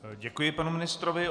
Děkuji panu ministrovi.